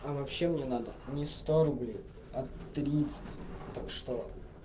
а вообще мне надо не сто рублей а тридцать так что